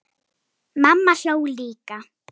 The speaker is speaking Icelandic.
Mamma hló líka.